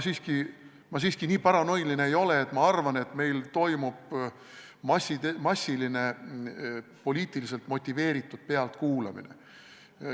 Ma siiski nii paranoiline ei ole, et ma arvan, et meil toimub massiline poliitiliselt motiveeritud pealtkuulamine.